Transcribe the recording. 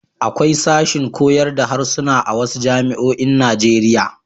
Akwai sashin koyar da harsuna a wasu jami'oin Najeriya.